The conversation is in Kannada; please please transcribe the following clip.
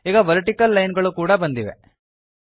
ಈಗ ವರ್ಟಿಕಲ್ ಲೈನ್ ಗಳು ಕೂಡ ಬಂದಿವೆ